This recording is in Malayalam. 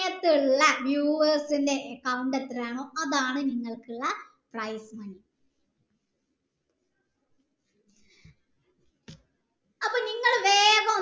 ഉള്ള viewers ൻ്റെ count എത്രെയാണോ അതാണ് ഇങ്ങക്കുള്ള price അപ്പൊ ഇങ്ങള് വേഗം